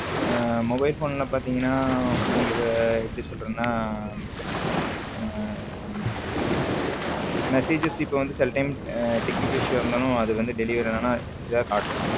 Mobile phone ல பாத்தீங்கன்னா உங்களுக்கு எப்படி சொல்றதுன்னா messages இப்போ வந்து சில time technical issue ஆ இருந்தாலும் அது வந்து delivery ஆனா ஏதாவது காட்டும்